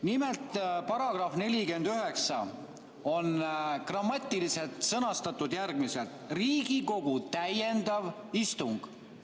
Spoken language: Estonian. Nimelt, § 49 on grammatiliselt sõnastatud järgmiselt: Riigikogu täiendav istung.